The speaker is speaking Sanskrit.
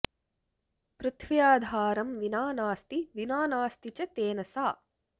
पृथ्व्याधारं विना नास्ति विना नास्ति च तेन सा